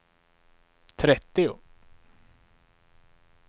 trettio